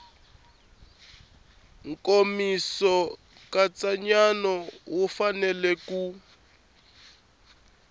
nkomiso nkatsakanyo wu fanele ku